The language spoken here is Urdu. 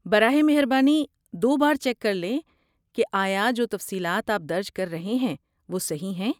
براہ مہربانی دو بار چیک کرلیں کہ آیا جو تفصیلات آپ درج کر رہے ہیں وہ صحیح ہیں۔